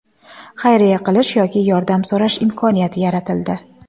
Xayriya qilish yoki yordam so‘rash imkoniyati yaratildi.